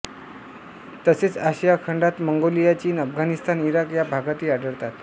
तसेच आशिया खंडात मंगोलिया चीन अफगाणिस्तान इराक या भागातही आढळतात